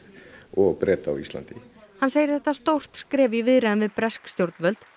og Breta á Íslandi hann segir þetta stórt skref í viðræðum við bresk stjórnvöld